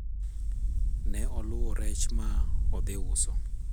ne oluwo rech ma odhi uso